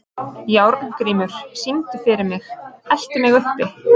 Járngrímur, syngdu fyrir mig „Eltu mig uppi“.